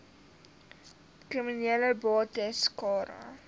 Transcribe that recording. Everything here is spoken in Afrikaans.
kriminele bates cara